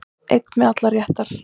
Einn með allar réttar